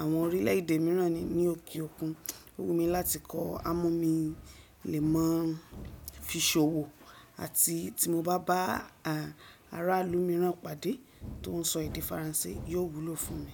àwọn orílẹ̀ èdè mìíràn ni ní òkè òkun. Ó wù mí láti kọ á, mo mi le mọ̀ fí ṣòwò àti tí mo bá bá aráàlú mìíràn pàdé tó ń sọ èdè faransé yóò wúlò fún mi.